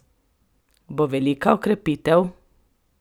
Bo velika okrepitev!